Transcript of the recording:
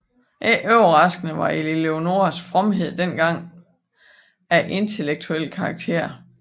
Ikke overraskende var Eleonoras fromhed dengang af intellektuelt karakter